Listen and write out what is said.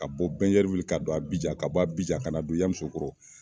Ka bɔ Bɛnyɛriwili ka don Abijan ka bɔ Abijan kana don Yamusokoro